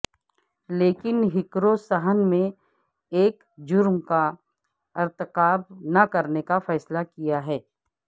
لیکن ہیکروں صحن میں ایک جرم کا ارتکاب نہ کرنے کا فیصلہ کیا ہے